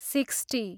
sixty